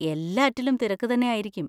എല്ലാറ്റിലും തിരക്ക് തന്നെ ആയിരിക്കും.